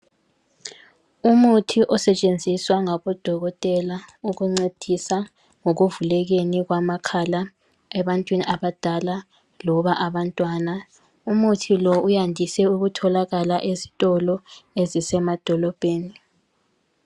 Umuthi osetshenziswa ngabodokotela ukuncedisa ekuvulekeni kwamakhala ebantwini abadala loba abantwana. Umuthi lo uyandise ukutholakala ezitolo ezisemadolobheni.